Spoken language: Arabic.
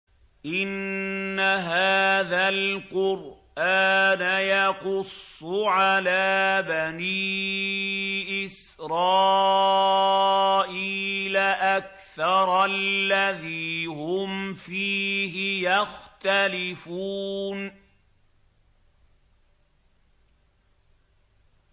إِنَّ هَٰذَا الْقُرْآنَ يَقُصُّ عَلَىٰ بَنِي إِسْرَائِيلَ أَكْثَرَ الَّذِي هُمْ فِيهِ يَخْتَلِفُونَ